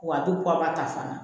Wa a bɛ ta fana